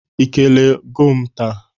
Ị kelee goo m taa?